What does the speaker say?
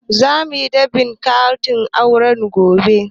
Za muyi dab'in katin auren ku gobe